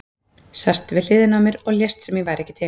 Sast við hliðina á mér og lést sem ég væri ekki til.